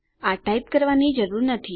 આ ટાઈપ કરવાની જરૂર નથી